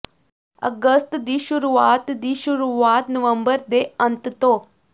ਅਗਸਤ ਦੀ ਸ਼ੁਰੂਆਤ ਦੀ ਸ਼ੁਰੂਆਤ ਨਵੰਬਰ ਦੇ ਅੰਤ ਤੋਂ